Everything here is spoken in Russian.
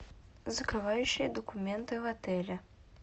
закрывающие документы в отеле